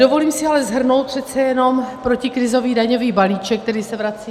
Dovolím si ale shrnout přece jenom protikrizový daňový balíček, který se vrací.